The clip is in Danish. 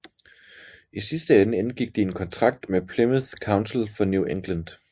I sidste ende indgik de en kontrakt med Plymouth Council for New England